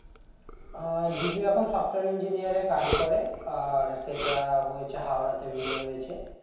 আহ জিজু এখন software engineering এ কাজ করে আর সেটা হয়েছে হাওড়া তে বিয়ে হয়েছে